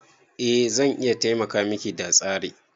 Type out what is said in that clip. Eh zan iya taimaka Miki da tsere.